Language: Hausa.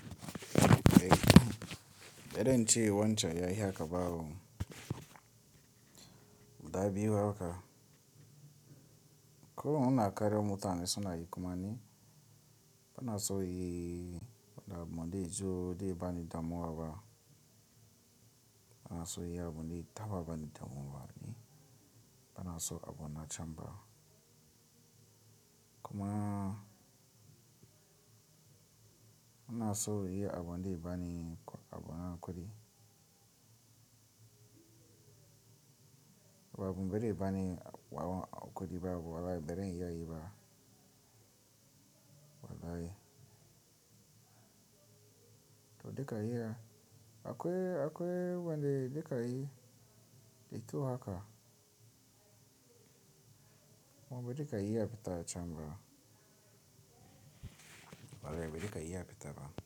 Eh, baden ciyawan can ya iya kabawo. Da biyu haka. Ko huna karya mota mai suna yi kuma ne? Bana so yi abun da ya zo, da ban damuwa ba. Bana so yi abun da ya taba bani damuwa ne. Bana so abuna chamber. Kuma ina so yi abin da ya bani, abona kwari. Ba a kumbari ya bani kwari ba ko walai, bari in yi wa yi ba. Walai. To, da kaiya. Akwai, akwai wanda da kaiya, dakyau haka. Mu bi da kaiya fitar chamber. Mu bi da kaiya fita ba.